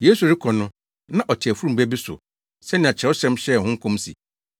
Yesu rekɔ no, na ɔte afurum ba bi so sɛnea Kyerɛwsɛm hyɛɛ ho nkɔm se,